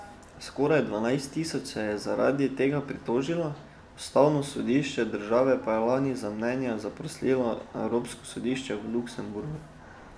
Skoraj dvanajst tisoč se jih je zaradi tega pritožilo, ustavno sodišče države pa je lani za mnenje zaprosilo evropsko sodišče v Luksemburgu.